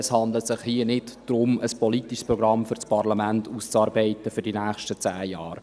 Es handelt sich nicht darum, ein politisches Programm für die nächsten zehn Jahre für das Parlament auszuarbeiten.